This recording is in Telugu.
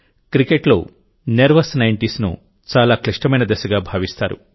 క్రికెట్లో నెర్వస్ నైంటీస్ను చాలా క్లిష్టమైన దశగా భావిస్తారు